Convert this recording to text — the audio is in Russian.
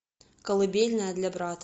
колыбельная для брата